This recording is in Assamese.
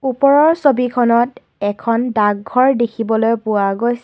ওপৰৰ ছবিখনত এখন ডাকঘৰ দেখিবলৈ পোৱা গৈছে।